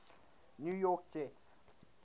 new york jets